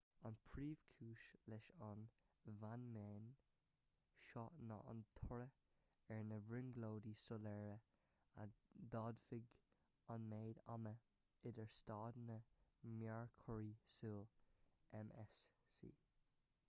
an phríomhchúis leis an bhfeiniméan seo ná an toradh ar na brionglóidí soiléire a d'fhadaigh an méid ama idir staideanna mearchorraí súl mcs